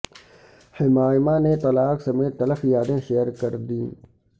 حمائمہ نے طلاق سمیت تلخ یادیں شیئر کر دیں